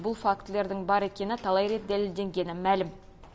бұл фактілердің бар екені талай рет дәлелденгені мәлім